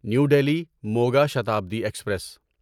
new Delhi Moga Shatabdi express